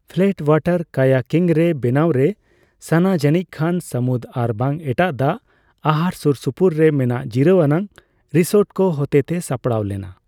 Flat ᱚᱣᱟᱴᱟᱨ ᱠᱟᱭᱟᱠᱤᱝᱼᱨᱮ ᱵᱮᱱᱟᱣᱨᱮ ᱥᱟᱱᱟ ᱡᱟᱹᱱᱤᱡᱠᱷᱟᱱ ᱥᱟᱢᱩᱫ ᱟᱨᱵᱟᱝ ᱮᱴᱟᱜ ᱫᱟᱜᱽᱼᱟᱦᱟᱨ ᱥᱩᱨᱥᱩᱯᱩᱨ ᱨᱮ ᱢᱮᱱᱟᱜ ᱡᱤᱨᱟᱹᱣ ᱟᱱᱟᱜ ᱨᱤᱥᱳᱨᱴ ᱠᱚ ᱦᱚᱛᱮᱛᱮ ᱥᱟᱯᱲᱟᱣ ᱞᱮᱱᱟ ᱾